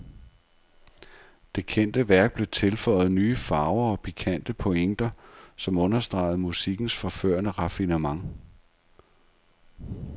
Det kendte værk blev tilføjet nye farver og pikante pointer, som understregede musikkens forførende raffinement.